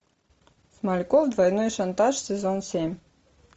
смальков двойной шантаж сезон семь